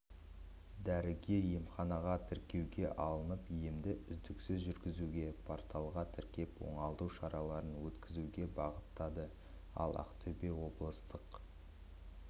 дәрігер емханаға тіркеуге алынып емді үздіксіз жүргізуге порталға тіркеліп оңалту шараларын өткізуге бағыттады ал ақтөбе облыстық